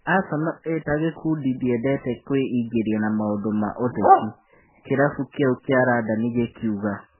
" Aseno ĩtagĩkundi ndĩendete kwĩingĩria na maũndũ ma ũteti", kĩrabu kĩu kĩa Randani gĩkiuga.